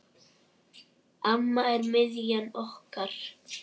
Amma er miðjan okkar.